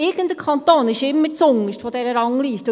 Irgendein Kanton ist immer zuunterst in dieser Rangliste.